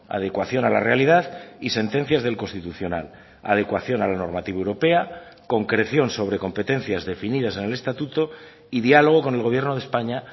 adecuación a la realidad y sentencias del constitucional adecuación a la normativa europea concreción sobre competencias definidas en el estatuto y diálogo con el gobierno de españa